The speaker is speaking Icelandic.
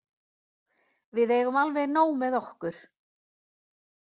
Við eigum alveg nóg með okkur.